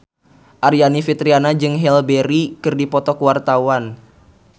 Aryani Fitriana jeung Halle Berry keur dipoto ku wartawan